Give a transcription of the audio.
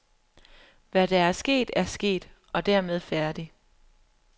Hvad der er sket er sket, og dermed færdig.